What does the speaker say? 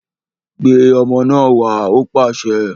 Gbé ọmọ náà wá! Ó pàṣẹ